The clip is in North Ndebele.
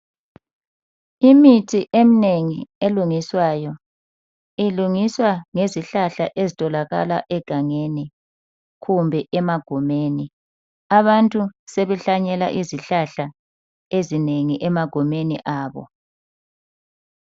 Imithi eminengi elungiswayo. Ilungiswa ngezihlahla ezitholakala egangeni, kumbe emagumeni. Abantu sebehlanyela izihlahla ezinengi emagumeni abo.